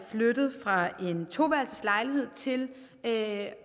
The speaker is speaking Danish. flyttet fra en toværelseslejlighed til